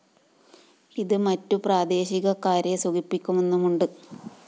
ഇതു മറ്റു പ്രാദേശികക്കാരെ സുഖിപ്പിക്കുന്നുമുണ്ട്